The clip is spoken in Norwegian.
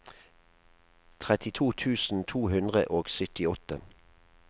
trettito tusen to hundre og syttiåtte